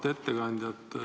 Auväärt ettekandja!